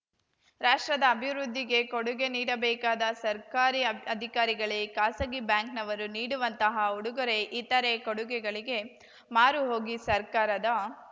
ರಾಷ್ಟ್ರದ ಅಭಿವೃದ್ಧಿಗೆ ಕೊಡುಗೆ ನೀಡಬೇಕಾದ ಸರ್ಕಾರಿ ಅಧಿಕಾರಿಗಳೇ ಖಾಸಗಿ ಬ್ಯಾಂಕ್‌ನವರು ನೀಡುವಂತಹ ಉಡುಗೊರೆ ಇತರೆ ಕೊಡುಗೆಗಳಿಗೆ ಮಾರು ಹೋಗಿ ಸರ್ಕಾರದ